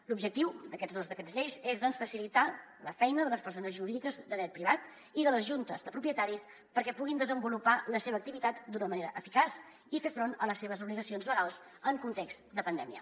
l’objectiu d’aquests dos decrets llei és doncs facilitar la feina de les persones jurídiques de dret privat i de les juntes de propietaris perquè puguin desenvolupar la seva activitat d’una manera eficaç i fer front a les seves obligacions legals en context de pandèmia